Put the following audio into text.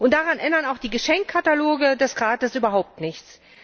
Daran ändern auch die Geschenkkataloge des Rates überhaupt nichts.